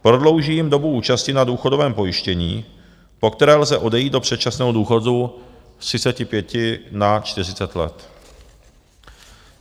Prodlouží jim dobu účasti na důchodovém pojištění, po které lze odejít do předčasného důchodu, z 35 na 40 let.